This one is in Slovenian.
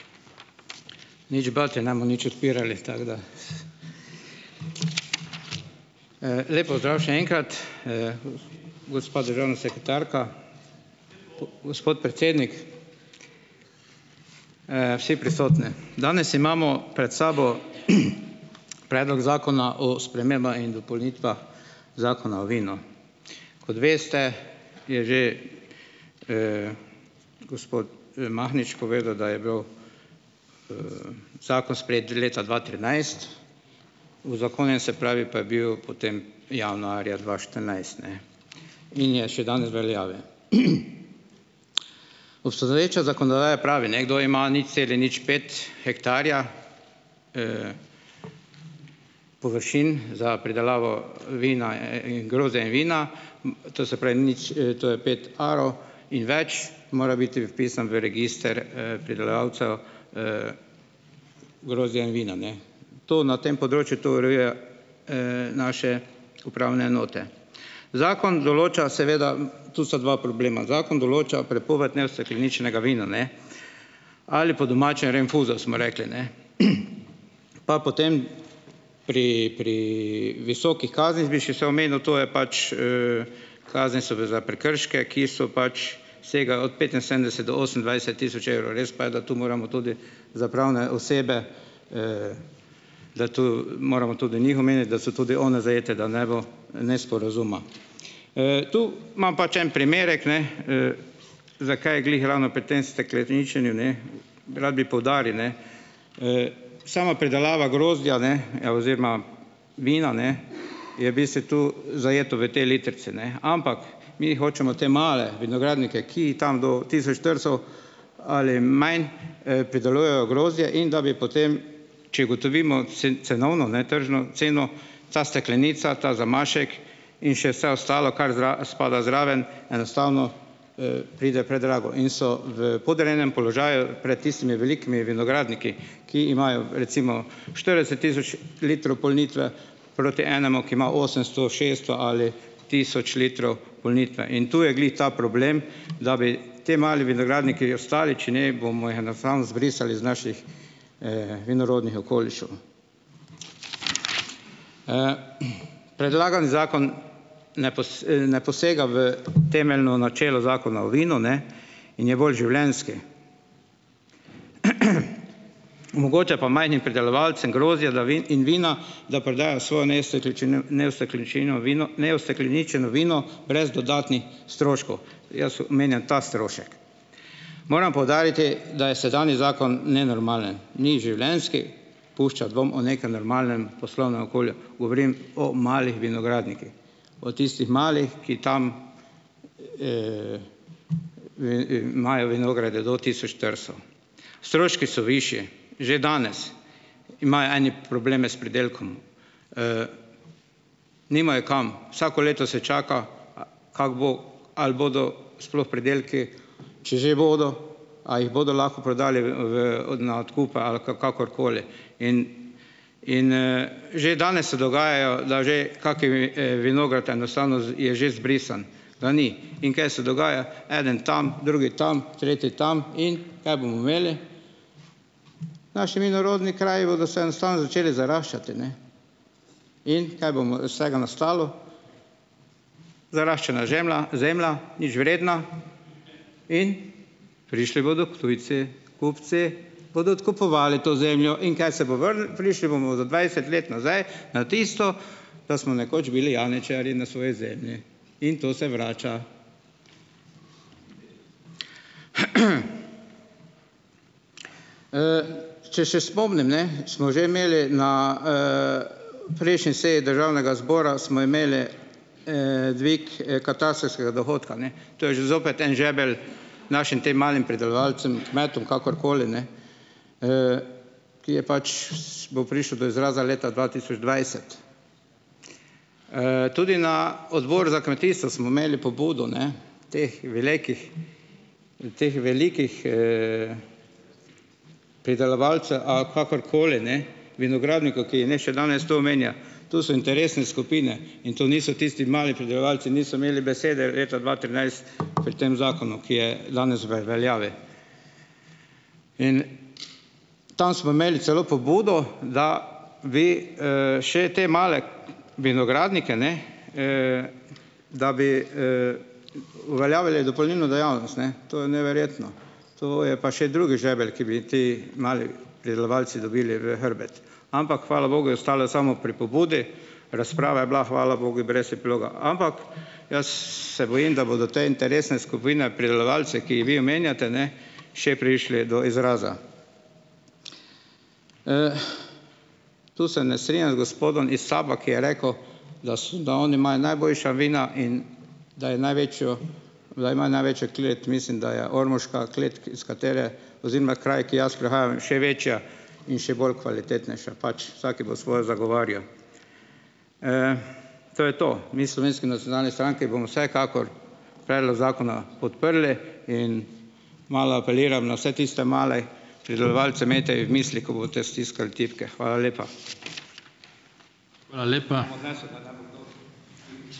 Nič bati, ne bomo nič odpirali, tako da ... Lep pozdrav še enkrat, gospa državna sekretarka, gospod predsednik, vsi prisotni. Danes imamo pred sabo, predlog Zakona o spremembah in dopolnitvah Zakona o vinu. Kot veste, je že, gospod Mahnič povedal, da je bil, zakon sprejet že leta dva trinajst, uzakonjen, se pravi, pa je bil potem januarja dva štirinajst, ne, in je še danes veljavi. Obstoječa zakonodaja pravi, ne, kdor ima nič celih nič pet hektarja, površin za pridelavo vina, grozdja in vina, to se pravi, nič to je pet arov in več, mora biti vpisan v register, pridelovalcev, grozdja in vina, ne. To na tem področju to urejuje, naše upravne enote. Zakon določa - seveda tu sta dva problema, zakon določa prepoved neustekleničenega vina, ne, ali po domače rinfuzo, smo rekli, ne. Pa potem pri, pri visokih kaznih bi še se omenil, to je pač, kazen, se ve, za prekrške, ki so pač, segajo od petinsedemdeset do osemindvajset tisoč evrov. Res pa je, da to moramo tudi za pravne osebe, da to moramo tudi njih omeniti, da so tudi one zajete, da ne bo nesporazuma. Tu imam pač en primerek, ne, za kaj glih ravno pri tem stekleničenju, ne. Rad bi poudaril, ne, sama pridelava grozdja, ne, oziroma vina, ne, je bistvu tu zajeto v tej litrici, ne, ampak mi hočemo te male vinogradnike, ki tam do tisoč štiristo ali manj, pridelujejo grozdje, in da bi potem, če ugotovimo cenovno, ne, tržno ceno, ta steklenica, ta zamašek in še vse ostalo, kar spada zraven, enostavno, pride predrago in so v podrejenem položaju pred tistimi velikimi vinogradniki, ki imajo recimo štirideset tisoč litrov polnitve, proti enemu, ki ima osemsto, šeststo ali tisoč litrov polnitve, in tu je glih ta problem, da bi ti mali vinogradniki ostali, če ne, bomo jih enostavno zbrisali iz naših, vinorodnih okolišev. Predlagani zakon ne ne posega v temeljno načelo zakona o vinu, ne. In je bolj življenjski. Omogoča pa majhnim pridelovalcem grozdja, da in vina, da prodajo svojo neustekleničino, neustekleničeno vino brez dodatnih stroškov. Jaz omenjam ta strošek. Moram poudariti, da je sedanji zakon nenormalen, ni življenjski, pušča dvom o nekem normalnem poslovnem okolju, govorim o malih vinogradnikih, o tistih malih, ki tam, imajo vinograde do tisoč štiristo. Stroški so višji, že danes imajo eni probleme s pridelkom. Nimajo kam, vsako leto se čaka, kako bo, ali bodo sploh pridelki, če že bodo, a jih bodo lahko prodali v, na odkup ali kakorkoli in in, že danes se dogajajo, da že kaki vinograd enostavno je že izbrisan. Ga ni. In kaj se dogaja? Eden tam, drugi tam, tretji tam in - kaj bomo imeli? Naši vinorodni kraji bodo se enostavno začeli zaraščati, ne. In, kaj bomo iz tega nastalo? Zaraščena žemla, zemlja, nič vredna. In prišli bodo tujci. Kupci bodo odkupovali to zemljo. In kaj se bo Prišli bomo za dvajset let nazaj na tisto, da smo nekoč bili janičarji na svoji zemlji. In to se vrača. Če še spomnim, ne. Smo že imeli na, prejšnji seji državnega zbora, smo imeli, dvig, katastrskega dohodka, ne. To je že zopet en žebelj našim tem malim pridelovalcem, kmetom, kakorkoli, ne. Ki je pač, - bo prišel do izraza leta dva tisoč dvajset. Tudi na odboru za kmetijstvo smo imeli pobudo, ne teh velikih, teh velikih, pridelovalcev - a kakorkoli, ne, vinogradnikov, ki jih še danes tu omenja. To so interesne skupine. In to niso tisti mali pridelovalci, niso imeli besede leta dva trinajst pri tem zakonu, ki je danes v veljavi. In tam smo imeli celo pobudo, da bi, še te male vinogradnike, ne, da bi, uveljavili dopolnilno dejavnost, ne. To je neverjetno. To je pa še drugi žebelj, ki bi ti mali pridelovalci dobili v hrbet. Ampak hvala bogu je ostalo samo pri pobudi. Razprava je bila, hvala bogu, brez epiloga. Ampak jaz se bojim, da bodo te interesne skupine pridelovalcev, ki jih vi omenjate, ne, še prišle do izraza. To se ne strinjam z gospodom iz SAB-a, ki je rekel, da oni imajo najboljša vina in da je največjo, da imajo največjo klet. Mislim, da je ormoška klet, iz katere, oziroma kraj, ki jaz prihajam, še večja in še bolj kvalitetnejša. Pač, vsaki bo svoje zagovarjal. To je to. Mi v Slovenski nacionalni stranki bomo vsekakor predlog zakona podprli in malo apeliram na vse tiste male pridelovalce, imejte jih v mislih, ko boste stiskali tipke. Hvala lepa.